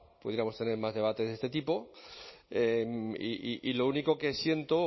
pudiéramos tener más debates de este tipo y lo único que siento o